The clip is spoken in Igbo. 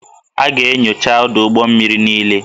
A ga-enyocha ọdụ ụgbọ mmiri niile